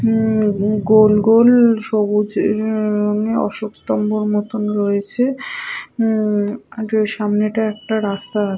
উম গোলগোল সবুজ রংয়ের অশোক স্তম্ভর মতো রয়েছে উম আর ওই সামনে এটা একটা রাস্তা--